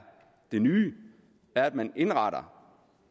det nye er at man indretter